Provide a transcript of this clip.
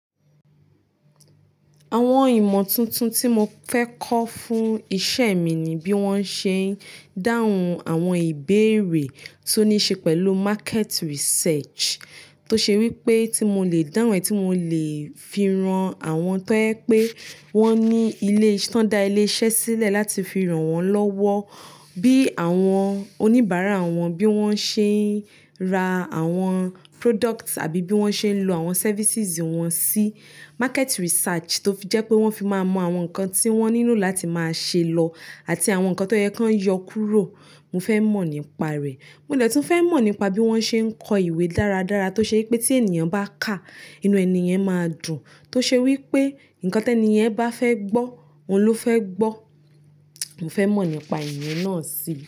Àwọn ìmọ̀ tuntun tí mo fẹ́ kọ́ fún iṣẹ́ mi ni bí wọ́n ṣe ń dáhùn àwọn ìbéèrè tó ní ṣe pẹ̀lú market research. Tó ṣe wí pé tí mo lè dáhun e, tí mo lè fi ran àwọn tó jẹ pé wọ́n ní ilé, tí wọ́n da ilé iṣẹ́ sílẹ̀ láti fi ran wọ́n lọ́wọ́. Bí àwọn oníbàárà wọn, bí wọ́n ṣe ń ra àwọn product àbí bí wọ́n ṣe ń lo àwọn services wọn sí market research tó fi jẹ́ pé wọ́n fi máa mọ àwọn nǹkan tí wọ́n nílò láti máa ṣe lọ àti àwọn nǹkan tó yẹ kí wọ́n yọ kúrò. Mo fẹ́ mọ̀ nípa rẹ̀. Mo dẹ tun fẹ́ mọ̀ nípa bí wọ́n ṣe ń kọ ìwé dáradára tó ṣe pé tí ènìyàn bá kàá, inú ènìyen máa dùn. Tó ṣe wí pé nǹkan tẹ niyen bá fẹ́ gbọ́, òun ló fẹ́ gbọ́. Mo fẹ́ mọ̀ nípa ìyẹn náà sí.